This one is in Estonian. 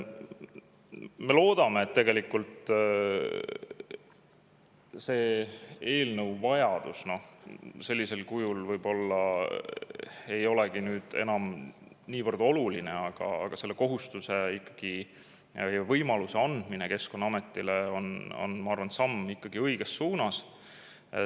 Me loodame, et selle eelnõu vajadus sellisel kujul võib-olla ei olegi enam niivõrd, aga selle võimaluse andmine Keskkonnaametile on, ma arvan, ikkagi samm õiges suunas.